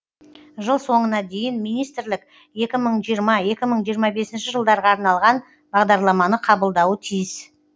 жыл соңына дейін министрлік екі мың жиырма екі мың жиырма бесінші жылдарға арналған бағдарламаны қабылдауы тиіс